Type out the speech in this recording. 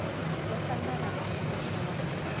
ḽo ṱangana na muhasho wa